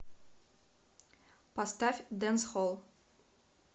поставь дэнсхолл